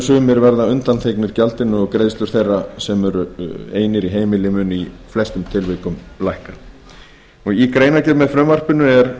sumir verða undanþegnir gjaldinu og greiðslur þeirra sem eru einir í heimili munu í flestum tilvikum lækka í greinargerð með frumvarpinu